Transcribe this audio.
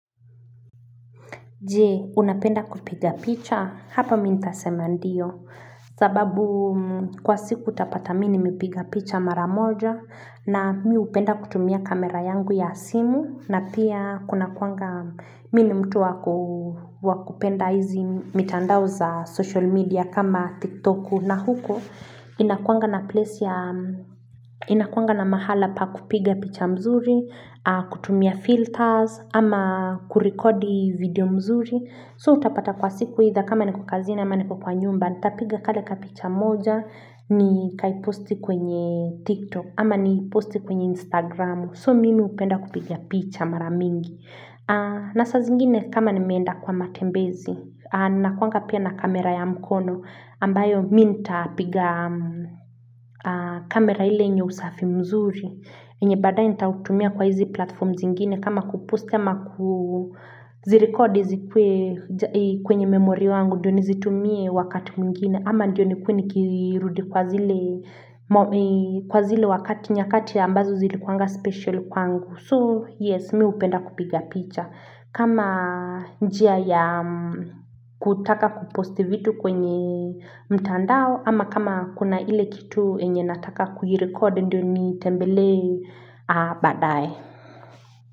Je, unapenda kupiga picha? Hapa mimi nitasema ndiyo. Sababu kwa siku utapata mimi nimepiga picha mara moja na mimi hupenda kutumia kamera yangu ya simu na pia kunakuanga mimi ni mtu wa kupenda hizi mitandao za social media kama tiktok na huko. Inakuanga na mahala pa kupiga picha nzuri kutumia filters ama kurekodi video mzuri so utapata kwa siku either kama niko kazini ama niko kwa nyumba nitapiga kale kapicha moja nikaiposti kwenye tiktok ama niposti kwenye instagram so mimi hupenda kupiga picha mara mingi na saa zingine kama nimeenda kwa matembezi nakuanga pia na kamera ya mkono ambayo mimi nitapiga kamera ile yenye usafi mzuri yenye baadaye nitatumia kwa hizi platform zingine kama kuposti ama kuzirekodi zikuwe kwenye memori yangu ndiyo nizitumie wakati mwingine ama ndiyo nikuwe nikirudi kwa zile wakati nyakati ambazo zilikuanga special kwangu So yes mimi hupenda kupiga picha kama njia ya kutaka kuposti vitu kwenye mtandao ama kama kuna ile kitu yenye nataka kuirekodi ndio niitembelee baadaye.